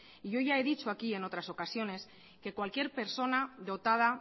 y yo ya he dicho aquí en otras ocasiones que cualquier persona dotada